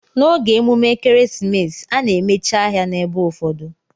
Na oge emume ekeresimesi ana emechi ahia na ebe ụfọdụ.